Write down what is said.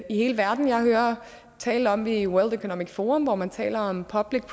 hele verden jeg hører tale om det i world economic forum hvor man taler om public